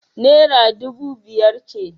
Naira dubu biyar ce.